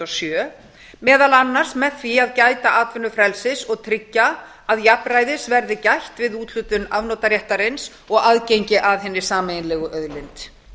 sjö meðal annars með því að gæta atvinnufrelsis og tryggja að jafnræðis verði gætt við úthlutun afnotaréttarins og aðgengi að hinni sameiginlegu auðlind